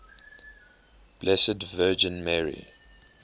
blessed virgin mary